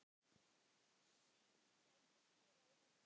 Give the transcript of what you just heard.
Syn gætir dyra í höllum